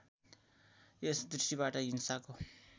यस दृष्टिबाट हिंसाको